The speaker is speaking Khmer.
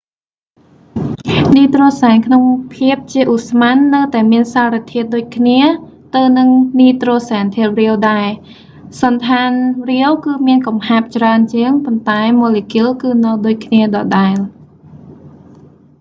នីត្រូហ្សែនក្នុងភាពជាឧស្ម័ននៅតែមានសារធាតុដូចគ្នាទៅនឹងនីត្រូហ្សែនធាតុរាវដែរ សណ្ឋានរាវគឺមានកំហាប់ច្រើនជាង ប៉ុន្តែម៉ូលេគុលគឺនៅដូចគ្នាដដែល